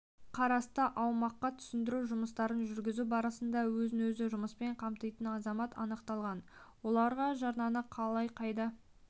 қарасты аумаққа түсіндіру жұмыстарын жүргізу барысында өзін-өзі жұмыспен қамтитын азамат анықталған оларға жарнаны қалай қайда